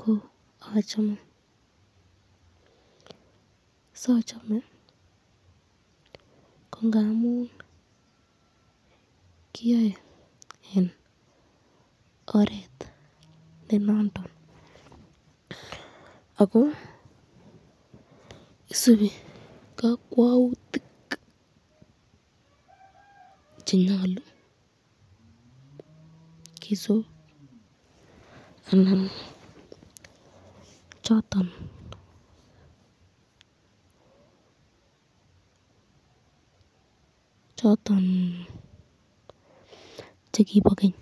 ko achame sochome, kongamun kiyoi eng oret nenondon ako isubi kakwautik chenyalu, kisub ana choton chekibo keny